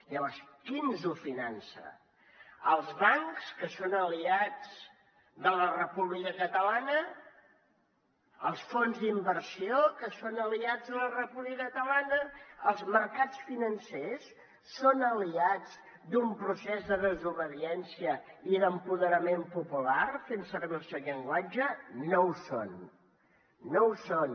llavors qui ens ho finança els bancs que són aliats de la república catalana els fons d’inversió que són aliats de la república catalana els mercats financers són aliats d’un procés de desobediència i d’empoderament popular fent servir el seu llenguatge no ho són no ho són